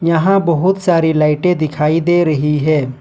यहां बहुत सारी लाइटें दिखाई दे रही है।